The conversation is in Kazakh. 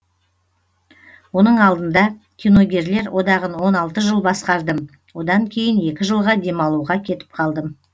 оның алдында киногерлер одағын он алты жыл басқардым одан кейін екі жылға демалуға кетіп қалдым